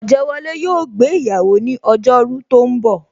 Ojewole yo gbé iyawo ni ojo ru tó ń bò